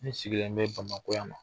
Ne sigilen n bɛ Bamakɔ yan wa